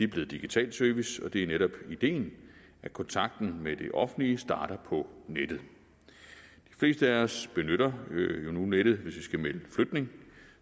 blevet digital service og det er netop ideen at kontakten med det offentlige starter på nettet de fleste af os benytter jo nu nettet hvis vi skal melde flytning